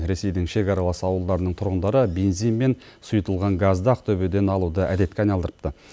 ресейдің шекаралас ауылдарының тұрғындары бензин мен сұйытылған газды ақтөбеден алуды әдетке айналдырыпты